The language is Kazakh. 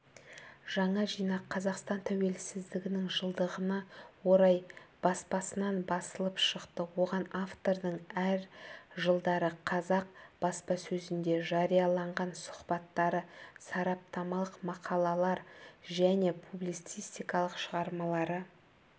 жаңа жинақ қазақстан тәуелсіздігінің жылдығына орай баспасынан басылып шықты оған автордың әр жылдары қазақ баспасөзінде жарияланған сұхбаттары сараптамалық мақалалар және публицистикалық шығармалары